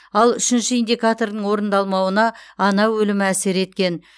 ал үшінші индикатордың орындалмауына ана өлімі әсер еткен